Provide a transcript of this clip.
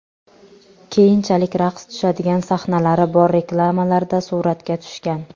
Keyinchalik raqs tushadigan sahnalari bor reklamalarda suratga tushgan.